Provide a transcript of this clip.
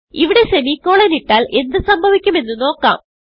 ഇവിടെ സെമിക്കോളൻ ഇട്ടാൽ എന്ത് സംഭവിക്കും എന്ന് നോക്കാം